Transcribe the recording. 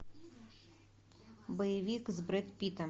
боевик с брэд питтом